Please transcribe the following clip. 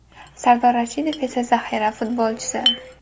Sardor Rashidov esa zaxira futbolchisi.